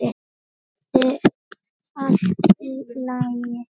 Skyldi allt í lagi?